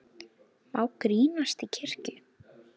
Má grínast í kirkju?